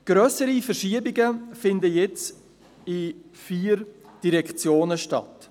Grössere Verschiebungen finden in vier Direktionen statt.